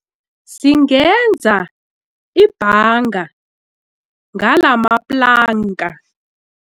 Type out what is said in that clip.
Singenza ibhanga ngalamaplanka.